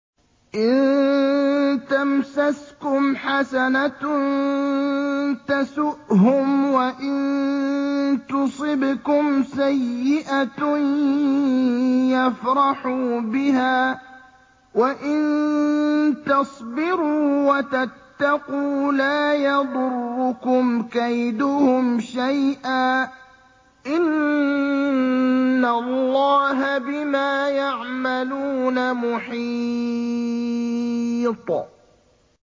إِن تَمْسَسْكُمْ حَسَنَةٌ تَسُؤْهُمْ وَإِن تُصِبْكُمْ سَيِّئَةٌ يَفْرَحُوا بِهَا ۖ وَإِن تَصْبِرُوا وَتَتَّقُوا لَا يَضُرُّكُمْ كَيْدُهُمْ شَيْئًا ۗ إِنَّ اللَّهَ بِمَا يَعْمَلُونَ مُحِيطٌ